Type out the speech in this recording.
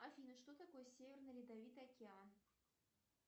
афина что такое северный ледовитый океан